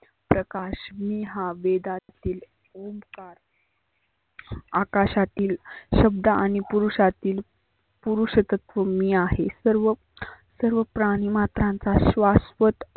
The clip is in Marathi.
प्रकाशने हा वेदात दिलेला ओमकार अकाशातील शब्द आणि पुरुषातील पुरुषतत्व मी आहे. सर्व सर्व प्राणि मात्रा त्यांचा श्वासवत